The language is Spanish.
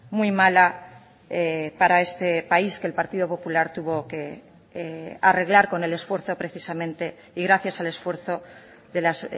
muy mala para este país que el partido popular tuvo que arreglar con el esfuerzo precisamente y gracias al esfuerzo de las